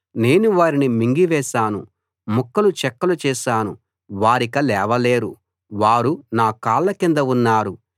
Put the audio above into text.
నేను వారిని మింగి వేశాను ముక్కలుచెక్కలు చేశాను వారిక లేవలేరు వారు నా కాళ్ళ కింద ఉన్నారు